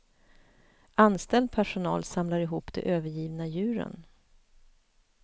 Anställd personal samlar ihop de övergivna djuren.